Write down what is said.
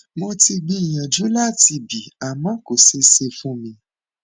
mo ti gbìyànjú láti bì àmọ kò ṣeé ṣe fún mi